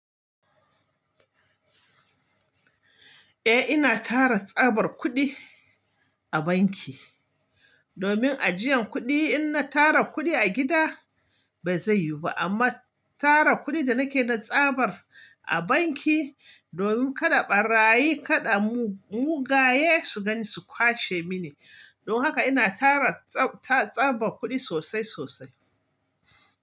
Eh ina tara tsabar kuɗi a banki domin ajiyan kuɗi. In na tara kuɗi a gida bai zai yiwu ba amma tara kuɗi da nake da tsabar a banki domin kada ɓarayi kada mugaye su gani su kwashe mini. Don haka ina tara tsabar kuɗi sosai sosai.